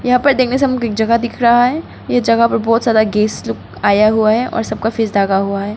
यहां पर देखने से हमको एक जगह दिख रहा है ये जगह पर बहुत ज्यादा गेस्ट लोग आया हुआ है और सब का फेस ढका हुआ है।